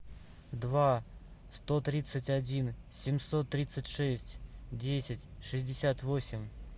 два сто тридцать один семьсот тридцать шесть десять шестьдесят восемь